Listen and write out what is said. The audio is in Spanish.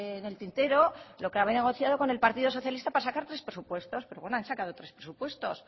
en el tintero lo que habrán negociado con el partido socialista para sacar tres presupuestos pero bueno han sacado tres presupuestos